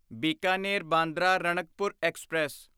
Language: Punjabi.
ਬੀਕਾਨੇਰ ਬਾਂਦਰਾ ਰਣਕਪੁਰ ਐਕਸਪ੍ਰੈਸ